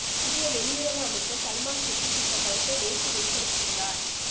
இந்திய வெளியுறவு அமைச்சர் சல்மான் குர்ஸித் இந்த கருத்தை நேற்று வெளிப்படுத்தியுள்ளார்